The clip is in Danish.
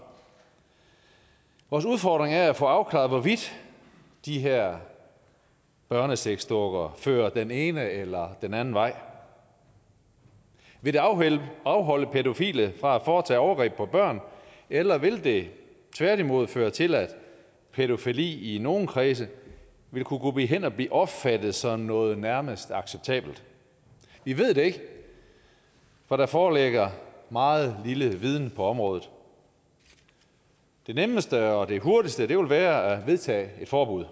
vores udfordring er at få afklaret hvorvidt de her børnesexdukker fører den ene eller den anden vej vil det afholde afholde pædofile fra at foretage overgreb mod børn eller vil det tværtimod føre til at pædofili i nogle kredse vil gå hen og blive opfattet som noget nærmest acceptabelt vi ved det ikke for der foreligger meget lidt viden på området det nemmeste og hurtigste ville være at vedtage et forbud